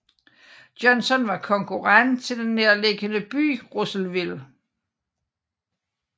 Johnson var konkurrent til den nærliggende by Russellville